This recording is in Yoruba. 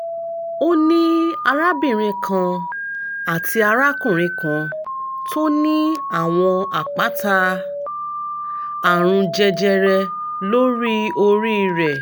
ó ní arábìnrin kan àti arákùnrin kan tó ní àwọn àpáta àrùn jẹjẹrẹ lórí orí rẹ̀